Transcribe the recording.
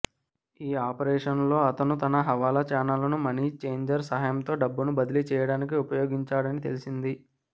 ఈ ఆపరేషన్లో అతను తన హవాలా ఛానళ్లను మనీ ఛేంజర్ సహాయంతో డబ్బును బదిలీ చేయడానికి ఉపయోగించాడని తెలిసింది